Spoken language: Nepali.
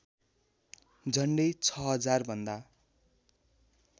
झन्डै ६००० भन्दा